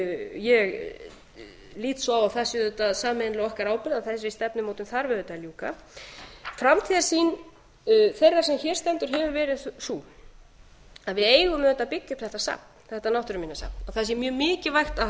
ég lít svo á að það sé auðvitað sameiginlega á okkar ábyrgð að þessari stefnumótun þarf auðvitað að ljúka framtíðarsýn þeirrar sem hér stendur hefur verið sú að við eigum auðvitað byggja upp þetta safn þetta náttúruminjasafn það sé mjög mikilvægt að